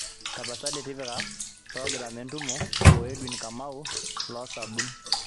tapasali tipika progiram entumo o Edwin kamau loos sabun